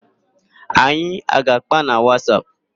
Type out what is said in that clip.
Anyị a ga-àkpá na Wasap?